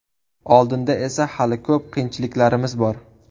Oldinda esa hali ko‘p qiyinchiliklarimiz bor.